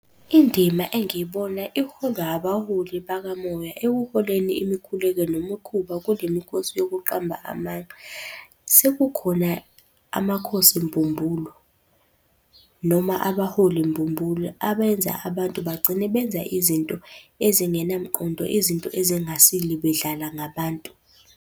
Indima engibona iholwa abaholi bakamoya ekuholeni imikhuleko nemikhuba kule mikhosi yokuqamba amanga. Sekukhona amakhosi mbumbulu noma abaholi mbumbulu abenza abantu bagcine benza izinto ezingenamqondo, izinto ezingasile bedlala ngabantu.